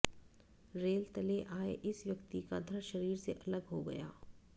rail तले आए इस व्यक्ति का धड़ शरीर से अलग हो गया